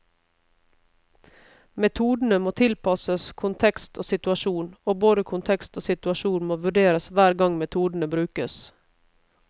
Metodene må tilpasses kontekst og situasjon, og både kontekst og situasjon må vurderes hver gang metodene brukes.